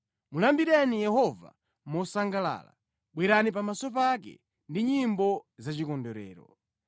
Mulambireni Yehova mosangalala; bwerani pamaso pake ndi nyimbo zachikondwerero.